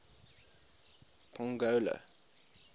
pongola